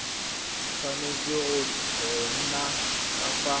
tshwanetse go nna ka fa